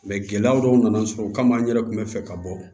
Mɛ gɛlɛya dɔw nana sɔrɔ o kama n yɛrɛ kun bɛ fɛ ka bɔ